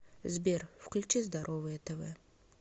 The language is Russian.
сбер включи здоровое тв